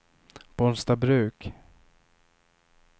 Bollstabruk